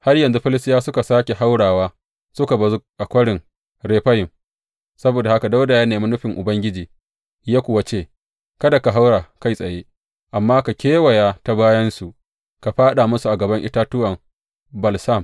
Har yanzu Filistiyawa suka sāke haurawa suka bazu a Kwarin Refayim; saboda haka Dawuda ya nemi nufin Ubangiji, ya kuwa ce, Kada ka haura kai tsaye, amma ka kewaya ta bayansu ka fāɗa musu a gaban itatuwan balsam.